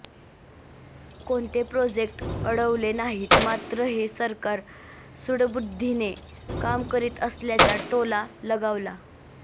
कोणते प्रोजेक्ट अडवले नाहीत मात्र हे सरकार सुडबुद्धीने काम करीत असल्याचा टोला लगावला